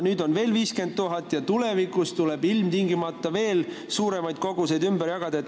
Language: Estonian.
Nüüd on vaja veel 50 000 inimest ja tulevikus ilmtingimata veel suuremas koguses pagulasi ümber jagada.